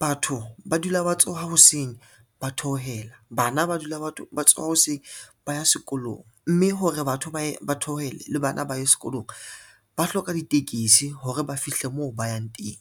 batho ba dula ba tsoha ho hoseng, ba theohela, bana ba dula ba tsoha hoseng ba ya sekolong, mme hore batho ba theohele le bana ba ye sekolong, ba hloka ditekesi hore ba fihle moo ba yang teng.